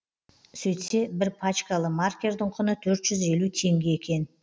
сөйтсе бір пачкалы маркердің құны төрт жүз елу теңге екен